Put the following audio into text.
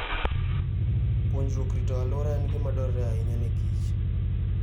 Puonjruok rito alwora en gima dwarore ahinya ne Kich.